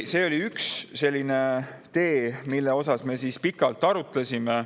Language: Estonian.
See oli üks, mida me pikalt arutasime.